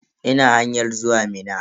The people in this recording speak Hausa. Ina hanyan zuwa Minna.